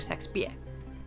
sex b